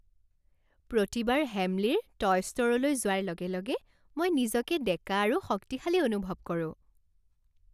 প্ৰতিবাৰ হেমলীৰ টয় ষ্ট'ৰলৈ যোৱাৰ লগে লগে মই নিজকে ডেকা আৰু শক্তিশালী অনুভৱ কৰোঁ!